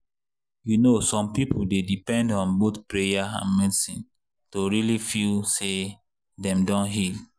you know some people dey depend on both prayer and medicine to really feel say dem don heal.